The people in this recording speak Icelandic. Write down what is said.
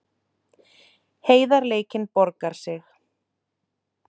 Heiðarleikinn borgaði sig